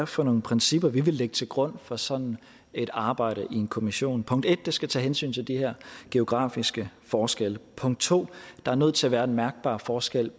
for nogle principper vi vil lægge til grund for sådan et arbejde i en kommission punkt 1 det skal tage hensyn til de her geografiske forskelle punkt 2 der er nødt til at være en mærkbar forskel